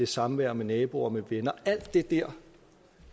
samvær med naboer og med venner og alt det der